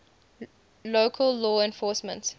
local law enforcement